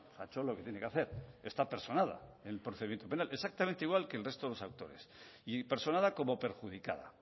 ha hecho lo que tiene que hacer está personada en el procedimiento penal exactamente igual que el resto de los autores y personada como perjudicada